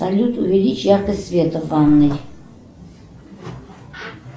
салют увеличь яркость света в ванной